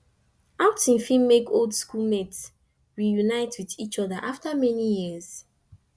outing fit make old school mate reunite with each oda after many years